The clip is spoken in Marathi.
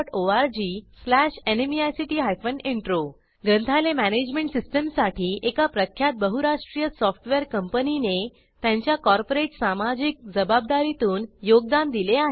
httpspoken tutorialorgNMEICT इंट्रो ग्रंथालय मॅनेजमेंट सिस्टीमसाठी एका प्रख्यात बहुराष्ट्रीय सॉफ्टवेअर कंपनीने त्यांच्या कॉर्पोरेट सामाजिक जबाबदारीतून योगदान दिले आहे